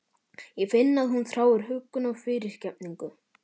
Ég finn að hún þráir huggun og fyrirgefningu.